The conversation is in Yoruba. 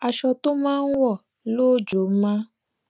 aṣọ tó máa n wò lóòjó máa ń